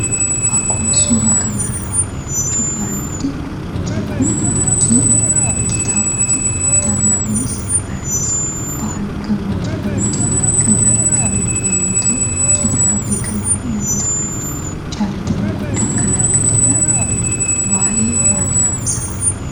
Akkuma suuraa kanarraa hubachuuf yaallutti fakkiin kun fakkii kitaabaati. kitaaabni kunis barreessaa Baahiluu Girmaa jedhamuutiin kan barreeffame yemmuu ta'u, kitaaba beekamaafi namoota biratti jaalatama guddaa kan argatedha. Waa'ee maalii haasa'a?